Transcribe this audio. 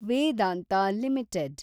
Vedanta limited